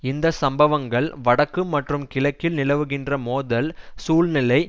இந்த சம்பவங்கள் வடக்கு மற்றும் கிழக்கில் நிலவுகின்ற மோதல் சூழ்நிலை